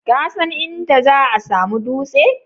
Kasan inda za'a samu dutse?